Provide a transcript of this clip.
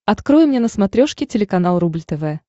открой мне на смотрешке телеканал рубль тв